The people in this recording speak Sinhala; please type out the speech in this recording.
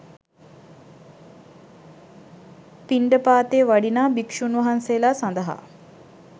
පින්ඩපාතේ වඩිනා භික්‍ෂූන් වහන්සේලා සඳහා